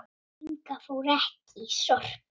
Inga fór ekki í Sorpu.